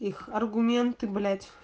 аргументы блять